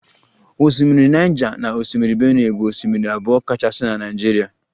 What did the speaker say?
Osimiri Niger na osimiri benue bụ osimiri abụọ kachasị na Naịjirịa